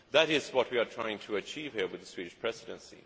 That is what we are trying to achieve here with the Swedish Presidency.